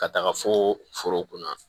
Ka taga fo foro kun na